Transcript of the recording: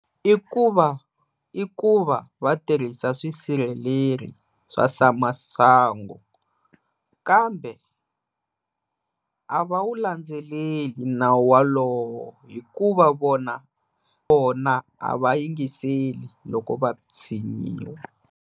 I ku va i ku va va tirhisa swisirheleli swa swamasangu kambe a va wu landzeleli nawu wa lowo hikuva vona vona a va yingiseli loko va tshinyiwa.